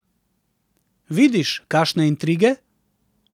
Vidiš, kakšne intrige?